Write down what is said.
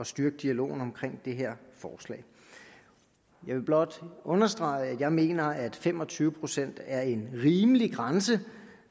styrke dialogen om det her forslag jeg vil blot understrege at jeg mener at fem og tyve procent er en rimelig grænse